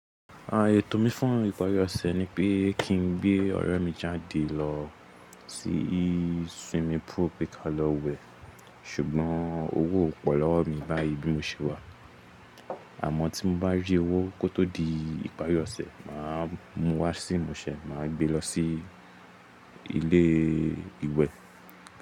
Ààyò tó mi fún ìparí ọ̀sẹ̀ ni pé kí n gbé ọ̀rẹ́ mi jáde lọ sí swimming pool pé ka lọ wẹ̀, ṣùgbọ́n owó kò pọ̀ lọ́wọ́ mi báyìí bí mo ṣe wà. Àmọ́ tí mo bá rí owó kó tó di ìparí ọ̀sẹ̀, mà á mú wá sí ìmúṣẹ, mà á gbé e lọ sí ilé ìwẹ̀.